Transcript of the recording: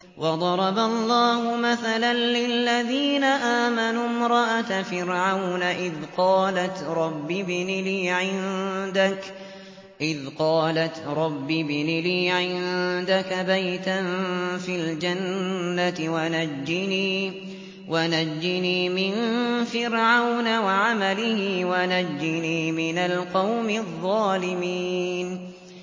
وَضَرَبَ اللَّهُ مَثَلًا لِّلَّذِينَ آمَنُوا امْرَأَتَ فِرْعَوْنَ إِذْ قَالَتْ رَبِّ ابْنِ لِي عِندَكَ بَيْتًا فِي الْجَنَّةِ وَنَجِّنِي مِن فِرْعَوْنَ وَعَمَلِهِ وَنَجِّنِي مِنَ الْقَوْمِ الظَّالِمِينَ